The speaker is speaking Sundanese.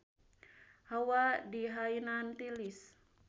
Hawa di Hainan tiris